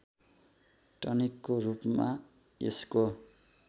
टनिकको रूपमा यसको